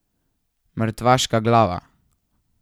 Mrtvaška glava.